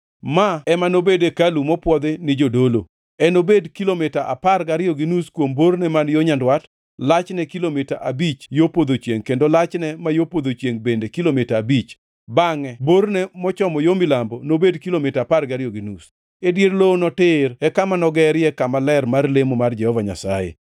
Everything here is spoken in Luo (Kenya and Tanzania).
Ma ema nobed hekalu mopwodhi ni jodolo. Enobed kilomita apar gariyo gi nus kuom borne man yo nyandwat, lachne kilomita abich yo podho chiengʼ kendo lachne ma yo podho chiengʼ bende kilomita abich, bangʼe borne mochomo yo milambo nobed kilomita apar gariyo gi nus. E dier lowono tir e kama nogerie kama ler mar lemo mar Jehova Nyasaye.